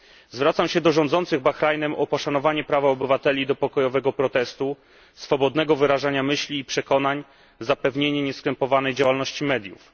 Zwracam się do rządzących Bahrajnem o poszanowanie prawa obywateli do pokojowego protestu, swobodnego wyrażania myśli i przekonań, zapewnienie nieskrępowanej działalności mediów.